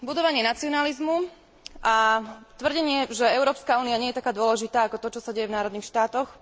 Budovanie nacionalizmu a tvrdenie, že Európska únia nie je taká dôležitá ako to, čo sa deje v národných štátoch.